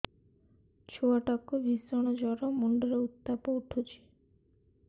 ଛୁଆ ଟା କୁ ଭିଷଣ ଜର ମୁଣ୍ଡ ରେ ଉତ୍ତାପ ଉଠୁଛି